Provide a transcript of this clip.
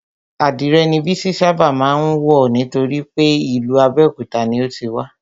Adìrè ni Bísí ṣábà má ń wọ̀ nítorípé ìlú Abéòkúta ni o ti wá